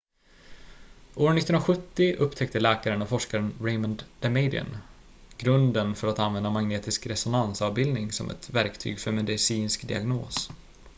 år 1970 upptäckte läkaren och forskaren raymond damadian grunden för att använda magnetisk resonansavbildning som ett verktyg för medicinsk diagnos